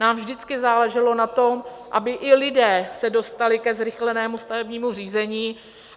Nám vždycky záleželo na tom, aby i lidé se dostali ke zrychlenému stavebnímu řízení.